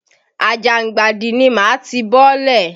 Àjàngbàdì ni màá ti bọ́lẹ̀.